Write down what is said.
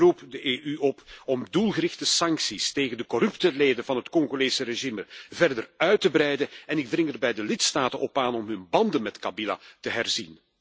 Ik roep de EU op om doelgerichte sancties tegen de corrupte leden van het Congolese regime verder uit te breiden en ik dring er bij de lidstaten op aan om hun banden met Kabila te herzien.